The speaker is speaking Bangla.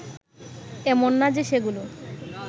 এমন না যে সেগুলো